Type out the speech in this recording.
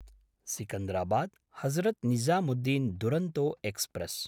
सिकन्दराबाद्–हजरत् Nizamuddin Duronto express